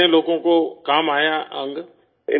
کتنے لوگوں کو کام آیا آرگن؟